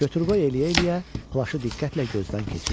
Götür-qoy eləyə-eləyə plaşı diqqətlə gözdən keçirdim.